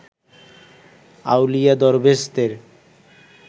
আউলিয়া দরবেশদের